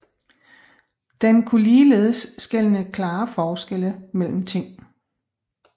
Den kunne ligeledes skelne klare forskelle mellem ting